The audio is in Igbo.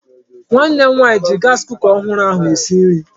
Nwanne m nwaanyị ji gaasi kuka ọhụrụ ahụ esi nri.